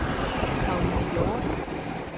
Caroline Hjorth